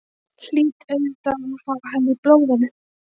Hlýt auðvitað að hafa hann í blóðinu.